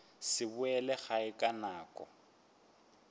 se boele gae ka nako